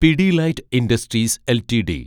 Pidilite industries LTD